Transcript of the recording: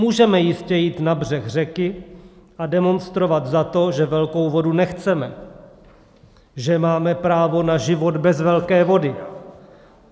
Můžeme jistě jít na břeh řeky a demonstrovat za to, že velkou vodu nechceme, že máme právo na život bez velké vody.